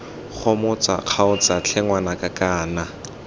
gomotsa kgaotsa tlhe ngwanaka kana